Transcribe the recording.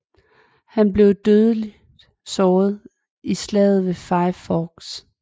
Han blev dødeligt såret i slaget ved Five Forks